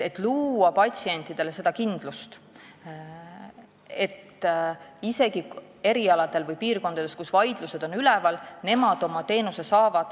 Patsientidele tuleb luua kindlus, et nemad saavad oma teenuse isegi nendel erialadel või piirkondades, kus on vaidlused üleval.